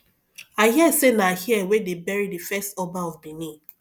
i hear say na here wey dey bury the first oba of benin